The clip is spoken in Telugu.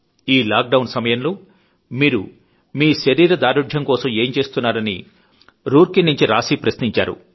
ఈలాక్ డౌన్ సమయంలో మీరు మీ ఫిట్ నెస్ కోసం ఏం చేస్తున్నారని రూర్ కీ నుంచి రాశీ ప్రశ్నించారు